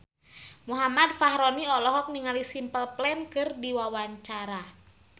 Muhammad Fachroni olohok ningali Simple Plan keur diwawancara